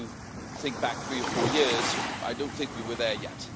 If you think back three or four years, I don't think we were there yet.